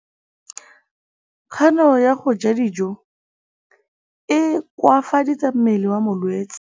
Kganô ya go ja dijo e koafaditse mmele wa molwetse.